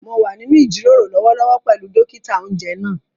Mo wà nínú ìjíròrò lọ́wọ́lọ́wọ́ pẹ̀lú dókítà-oúnjẹ náà